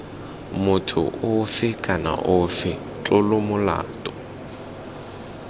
motho ofe kana ofe tlolomolato